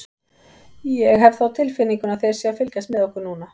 Ég hef það á tilfinningunni þeir séu að fylgjast með okkur núna.